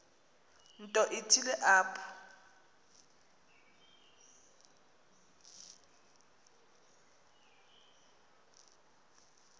nto ithile apho